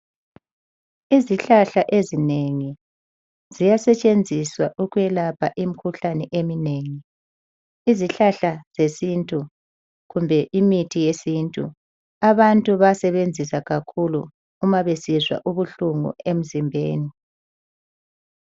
Izihlahla ezinengi ziyasetshenziswa ukwelapha imkhuhlane eminengi. Izihlahla zesintu kumbe imithi yesintu. Abantu bayasebenzisa kakhulu uma besizwa ubuhlungu emzimbeni.